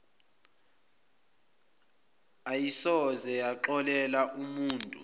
ayisoze yaxolela umutu